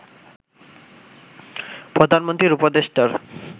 প্রধানমন্ত্রীর উপদেষ্টার